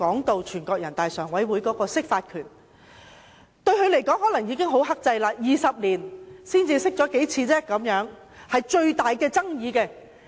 對人大常委會來說，它可能認為已很克制 ，20 年來只曾就最具爭議性的問題釋法數次。